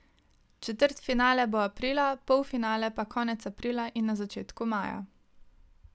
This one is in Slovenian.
Četrtfinale bo aprila, polfinale pa konec aprila in na začetku maja.